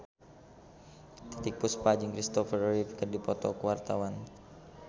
Titiek Puspa jeung Kristopher Reeve keur dipoto ku wartawan